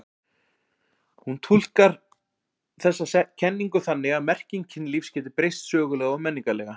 Hann túlkar þessa kenningu þannig að merking kynlífs geti breyst sögulega og menningarlega.